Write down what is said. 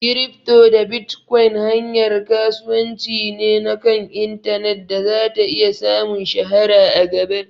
Kirifto da bitkon hanyar kasuwanci ne na kan intanet da zata iya samun shahara a gaba